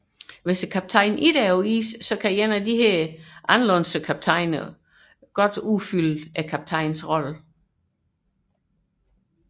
Såfremt kaptajnen ikke er på isen kan én af disse alternative kaptajner udfylde kaptajnens rolle